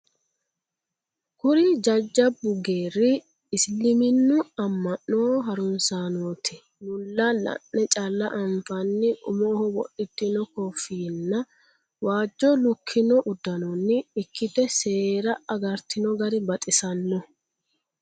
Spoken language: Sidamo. Kuri jajjabbu geeri Isiliminu ama'no harunsanoti mulla la'ne calla anfanni umoho wodhitino kofinyinna waajo lukkino uddanonni ikkite seera agartino gari baxisanoho.